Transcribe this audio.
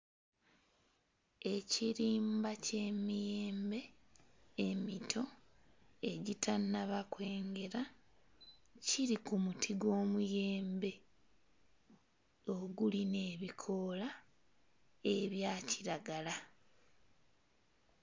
Ekirimba ky'emiyembe emito egitannaba kwengera, giri ku muti gw'omuyembe ogulina ebikoola ebya kiragala.